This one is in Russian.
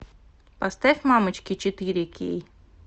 поставь мамочки четыре кей